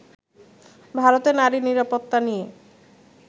ভারতে নারী নিরাপত্তা নিয়ে